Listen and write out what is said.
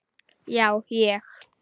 Já, ég.